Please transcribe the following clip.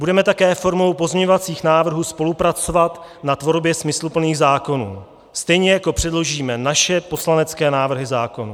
Budeme také formou pozměňovacích návrhů spolupracovat na tvorbě smysluplných zákonů, stejně jako předložíme naše poslanecké návrhy zákonů.